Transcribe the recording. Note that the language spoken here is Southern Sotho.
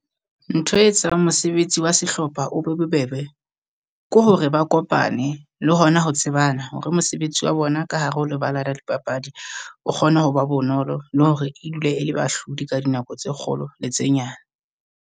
Ntho e tsang mosebetsi wa sehlopha o be bobebe, ke hore ba kopane le hona ho tsebana. Hore mosebetsi wa bona ka hare ho lebala la dipapadi o kgone ho ba bonolo le hore e dule e le bahlodi ka dinako tse kgolo le tse nyane.